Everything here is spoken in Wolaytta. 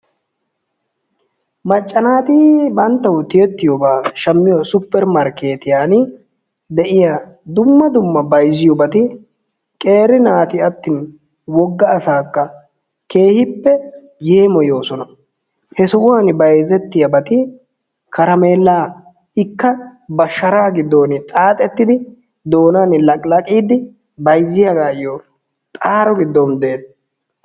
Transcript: Macca naati banttawu tiyettiyobaa shammiyo supper markkeetiyan de'iya dumma dummabata bayzziyobati qeeri naati attin wogga asaakka keehippe yeemoyoosona. He sohuwan bayzettiyabati karamewllaa, ikka ba sharaa giddon xaaxettidi bayzziyagaayyo doonaa laqilaqiiddi xaaro giddon beettees.